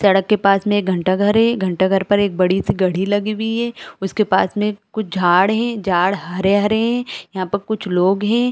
सड़क के पास में एक घंटा घर है घंटा घर पर एक बड़ी-सी घड़ी लगी हुई है उसके पास में कुछ झाड़ है झाड़ हरे-हरे है यहाँ पर कुछ लोग है।